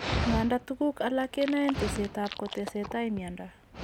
Nganda tuguk alak kenaen teset ab kotesetai miondo